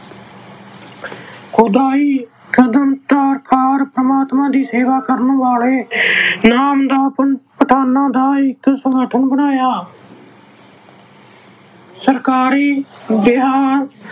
ਖੁਦਾਈ ਪਰਮਾਤਮਾ ਦੀ ਸੇਵਾ ਕਰਨ ਵਾਲੇ ਆਹ ਪਠਾਨਾਂ ਦਾ ਇੱਕ ਸੰਗਠਨ ਬਣਾਇਆ। ਸਰਕਾਰੀ ਵਿਹਾਰ